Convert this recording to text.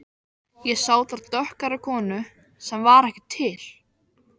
Ég sá þar dökkhærða konu sem var ekki til.